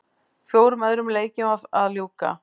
Fjórum öðrum leikjum var að ljúka